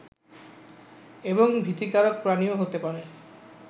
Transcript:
এবং ভীতিকারক প্রাণীও হতে পারে